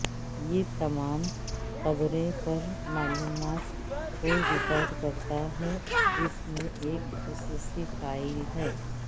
یہ تمام قبریں پر معلومات کو ریکارڈ کرتا ہے جس میں ایک خصوصی فائل ہے